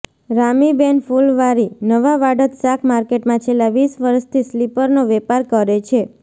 રામીબેન ફુલવારીઃ નવાવાડજ શાક માર્કેટમાં છેલ્લા વીસ વર્ષથી સ્લીપરનો વેપાર કરે છે